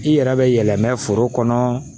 I yɛrɛ bɛ yɛlɛmɛ foro kɔnɔ